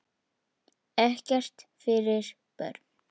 Ekkert fyrir börn.